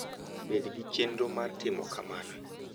Bed gi chenro mar timo kamano.